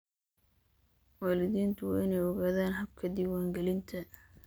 Waalidiintu waa inay ogaadaan habka diiwaangelinta.